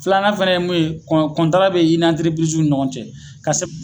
Filanan fɛnɛ ye mun ye kɔn kɔntara be i ni anterepiriziw ni ɲɔgɔn cɛ ka sɛb